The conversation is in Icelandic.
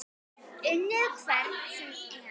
Unnið hvern sem er?